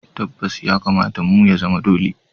Tabbas! ya kamata mu, ya zama dole